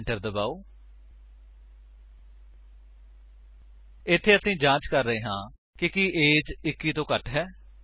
enter ਦਬਾਓ ਇੱਥੇ ਅਸੀ ਜਾਂਚ ਕਰ ਰਹੇ ਹਾਂ ਕਿ ਕੀ ਏਜ 21 ਤੋਂ ਘੱਟ ਹੈ